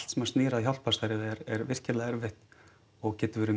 sem snýr að hjálparstarfi er virkilega erfitt og getur verið